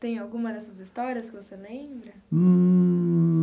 Tem alguma dessas histórias que você lembra?